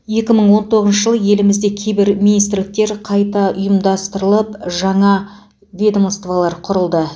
екі мың он тоғызыншы жылы елімізде кейбір министрліктер қайта ұйымдастырылып жаңа ведомстволар құрылды